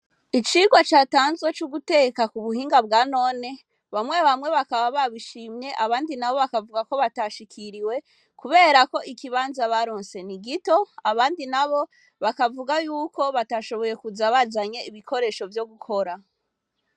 Icirwa catanzwe c'uguteka ku buhinga bwanone, bamwe bamwe bakaba babishimye abandi nabo bakavuga ko batashikiriwe kubera ko ikibanza baronse ni gito, abandi nabo bakavuga yuko batashoboye kuza bazanye ibikoresho vyo gukora.